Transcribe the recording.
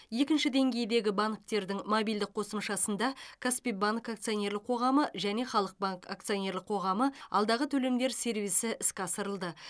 екінші деңгейдегі банктердің мобильдік қосымшасында каспи банк акционерлік қоғамы және халық банк акционерлік қоғамы алдағы төлемдер сервисі іске асырылды